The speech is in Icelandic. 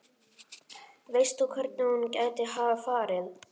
Veist þú hvert hún gæti hafa farið?